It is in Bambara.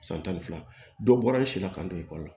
San tan ni fila dɔ bɔra i si la ka don ekɔli la